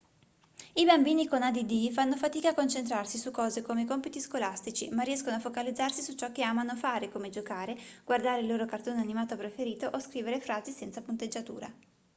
i bambini con add fanno fatica a concentrarsi su cose come i compiti scolastici ma riescono a focalizzarsi su ciò che amano fare come giocare guardare il loro cartone animato preferito o scrivere frasi senza punteggiatura